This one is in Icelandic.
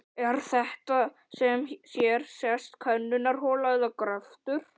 Er þetta sem hér sést könnunarhola eða gröftur?